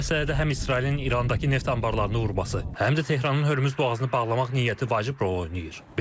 Bu məsələdə həm İsrailin İrandakı neft anbarlarını vurması, həm də Tehranın Hörmüz boğazını bağlamaq niyyəti vacib rol oynayır.